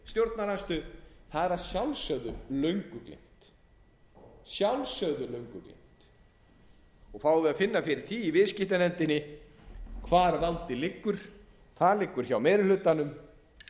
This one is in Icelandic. stjórnarandstöðu það er að sjálfsögðu löngu létt og fáum við að finna fyrir því í viðskiptanefndinni hvar valdið liggur það liggur hjá meiri hlutanum